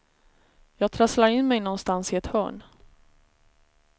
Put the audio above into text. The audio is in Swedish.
Jag trasslade in mig någonstans i ett hörn.